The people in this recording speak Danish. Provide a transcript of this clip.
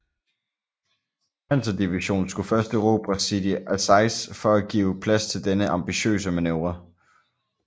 Panzerdivision skulle først erobre Sidi Azeiz for at give plads til denne ambitiøse manøvre